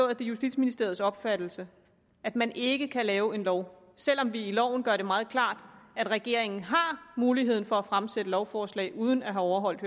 at det er justitsministeriets opfattelse at man ikke kan lave en lov selv om vi i loven gør det meget klart at regeringen har mulighed for at fremsætte lovforslag uden at have overholdt